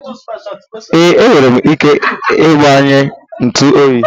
Ee, enwere m ike gbanyụọ ntu oyi.